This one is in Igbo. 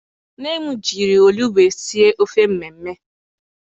Nne m jiri olugbu sie ofe mmemme.